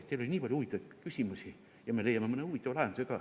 Teil oli nii palju huvitavaid küsimusi ja me leiame mõne huvitava lahenduse ka.